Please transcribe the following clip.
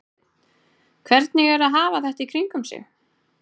Hafsteinn: Hvernig er að hafa þetta í kringum sig?